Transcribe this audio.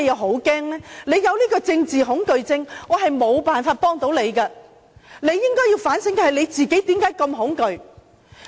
他有政治恐懼症，我沒有辦法幫他，他應該反省為何自己那麼恐懼。